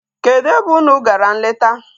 Kedụ ebe unu gara nleta?